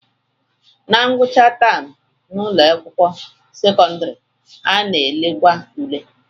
Na ngwụcha taam n'ụlọakwụkwọ sekọndịrị, a na-elekwa ule